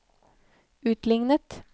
utlignet